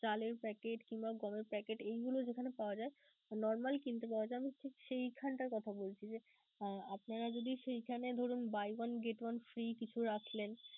চালের packet কিংবা গমের packet এইগুলো যেখানে পাওয়া যায়, normal কিনতে পাওয়া যায় আমি ঠিক সেখানটার কথা বলছি যে, আপনারা যদি সেখানে ধরুন buy one get one free কিছু রাখলেন.